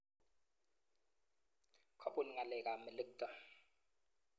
Kobun ngalekab melekto.